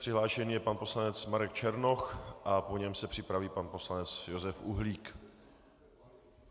Přihlášen je pan poslanec Marek Černoch a po něm se připraví pan poslanec Josef Uhlík.